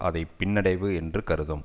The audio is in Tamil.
அதை பின்னடைவு என்று கருதும்